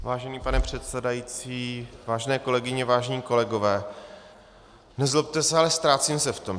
Vážený pane předsedající, vážené kolegyně, vážení kolegové, nezlobte se, ale ztrácím se v tom.